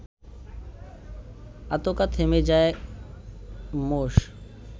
আঁতকা থেমে যায় মোষ